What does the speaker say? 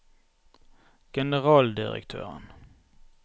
generaldirektøren